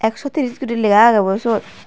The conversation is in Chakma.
sotris guri legha aagey bo seyot.